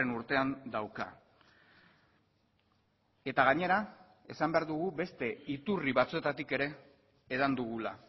urtean dauka eta gainera esan behar dugu beste iturri batzuetatik ere edan dugula